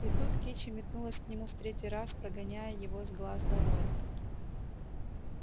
и тут кичи метнулась к нему в третий раз прогоняя его с глаз долой